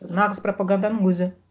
нағыз пропаганданың өзі